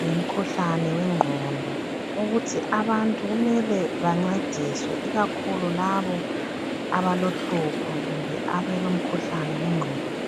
ngemkhuhlane wengqondo ukuthi abantu kumele bancediswe ikakhulu labo abalohlupho kumbe abelomkhuhlane wengqondo.